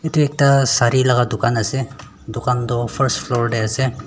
yete ekta sari laga dukaan ase dukaan tu first floor yeh ase.